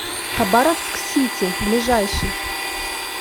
хабаровск сити ближайший